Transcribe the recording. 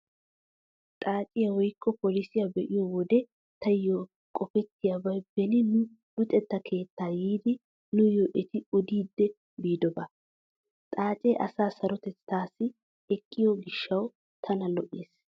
Xaaciyaa woykko polisiyaa be'iyo wode taayyo qopettiyabay beni nu luxetta keettaa yiiddi nuuyyo eti odidi biidobaa. Xaacee asaa sarotettaassi eqqiyo gishshawu tana lo'ees.